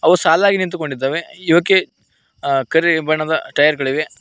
ಸಾಲಾಗಿ ನಿಂತುಕೊಂಡಿದ್ದವೆ ಇವಕ್ಕೆ ಅ ಕರಿ ಬಣ್ಣದ ಟೈಯರ್ ಗಳಿವೆ.